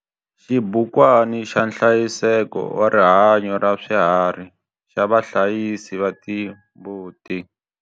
Xibukwana xa nhlayiseko wa rihanyo ra swiharhi xa vahlayisi va timbuti.